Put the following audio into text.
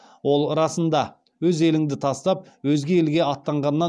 ол расында өз еліңді тастап өзге елге аттанғаннан